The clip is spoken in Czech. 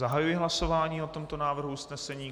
Zahajuji hlasování o tomto návrhu usnesení.